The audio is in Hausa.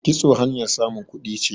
kitso hanyar samun kuɗi ce